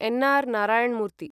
N. R. Narayana मूर्ति